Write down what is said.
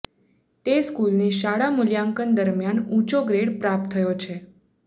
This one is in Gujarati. તે સ્કુલને શાળા મુલ્યાંકન દરમિયાન ઉંચો ગ્રેડ પ્રાપ્ત થયો છે